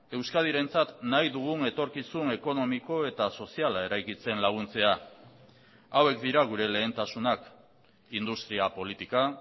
euskadirentzat nahi dugun etorkizun ekonomiko eta soziala eraikitzen laguntzea hauek dira gure lehentasunak industria politika